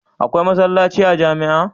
Akwai masallaci a jamia